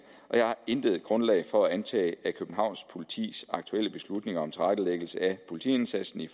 og jeg har intet grundlag for at antage at københavns politis aktuelle beslutning om tilrettelæggelse af politiindsatsen i